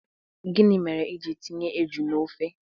Gini mere i jiri tinye eju na ofe?